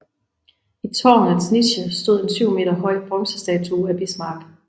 I tårnets niche stod en 7 meter høj bronzestatue af Bismarck